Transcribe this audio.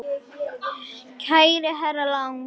Kæri herra Lang.